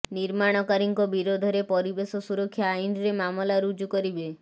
ନିର୍ମାଣକାରୀଙ୍କ ବିରୋଧରେ ପରିବେଶ ସୁରକ୍ଷା ଆଇନ୍ରେ ମାମଲା ରୁଜୁ କରିବେ